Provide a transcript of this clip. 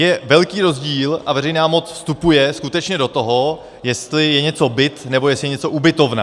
Je velký rozdíl - a veřejná moc vstupuje skutečně do toho, jestli je něco byt a jestli je něco ubytovna.